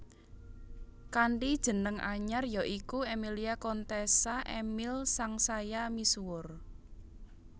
Kanthi jeneng anyar ya iku Emilia Contessa Emil sangsaya misuwur